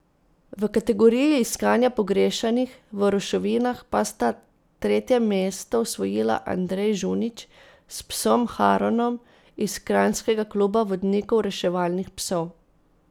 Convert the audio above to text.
V kategoriji iskanja pogrešanih v ruševinah pa sta tretje mesto osvojila Andrej Žunič s psom Haronom iz kranjskega Kluba vodnikov reševalnih psov.